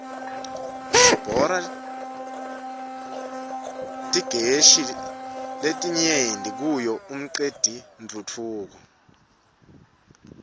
sibora titgeshi letiryenti kuyo mqetentfutfuko